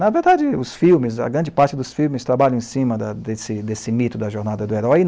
Na verdade, os filmes, a grande parte dos filmes trabalham em cima da desse desse mito da jornada do herói.